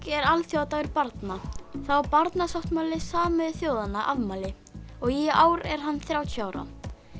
er alþjóðadagur barna þá á barnasáttmáli Sameinuðu þjóðanna afmæli og í ár er hann þrjátíu ára